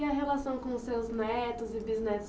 E a relação com os seus netos e bisnetos?